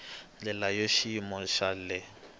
ndlela ya xiyimo xa le